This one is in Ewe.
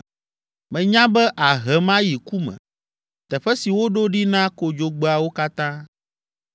Menya be àhem ayi ku me, teƒe si woɖo ɖi na kodzogbeawo katã.